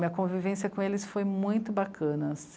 Minha convivência com eles foi muito bacana.